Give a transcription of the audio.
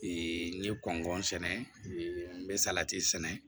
n ye kɔn sɛnɛ n bɛ salati sɛnɛ